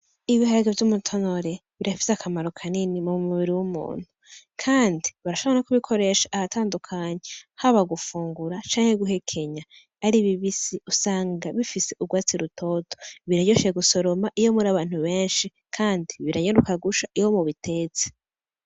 Ibiharage vy'umutonore birafise akamaro kanini mumubiri wumuntu kandi barashobora no kubikoresha ahatandukanye haba gufungura canke guhekenya ari bibisi usanga bifise ugwatsi rutoto biraryoshe gusoroma iyo muri abantu benshi kandi biranyaruka gusha iyo babitetse.